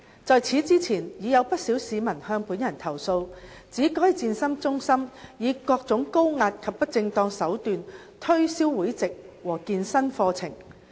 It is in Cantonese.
在此之前已有不少市民向本人投訴，指該健身中心以各種高壓及不正當手段推銷會籍和健身課程。